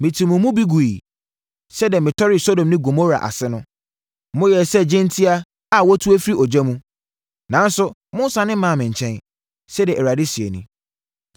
“Metuu mo mu bi guiɛ sɛdeɛ metɔree Sodom ne Gomora ase no. Moyɛɛ sɛ gyentia a wɔatu afiri ogya mu. Nanso, monnsane mmaa me nkyɛn,” sɛdeɛ Awurade seɛ nie.